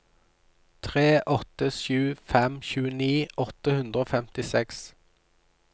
tre åtte sju fem tjueni åtte hundre og femtiseks